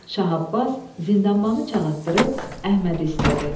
Şah Abbas zindanbanı çağırtdırıb Əhmədi istədi.